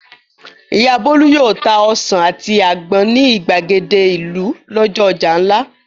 Ìyá Bólú yóò ta ọsàn àti àgbọn ní ìgbàgede ìlú lọ́jọ́ ọjà ńlá.